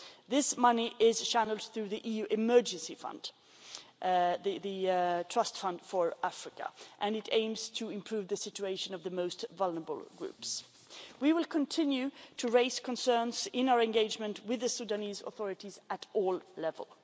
This money is channelled through the EU Emergency Trust Fund for Africa and it aims to improve the situation of the most vulnerable groups. We will continue to raise concerns in our engagement with the Sudanese authorities at all levels.